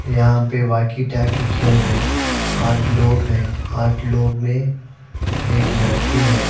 यहाँ पे walkie talkie खेल रहे हैं आठ लोग है आठ लोग ने एक लड़की है।